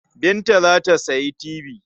Binta za ta sayi tibi.